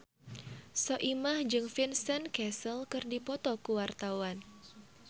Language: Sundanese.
Soimah jeung Vincent Cassel keur dipoto ku wartawan